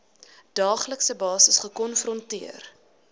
daaglikse basis gekonfronteer